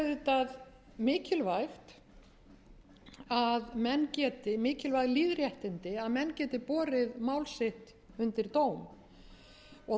nokkurra vandkvæða og það eru auðvitað mikilvæg lýðréttindi að menn geti borið mál sitt undir dóm og